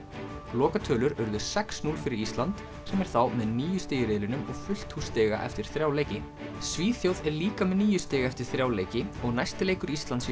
lokatölur urðu sex til núll fyrir Ísland sem er þá með níu stig í riðlinum og fullt hús stiga eftir þrjá leiki Svíþjóð er líka með níu stig eftir þrjá leiki og næsti leikur Íslands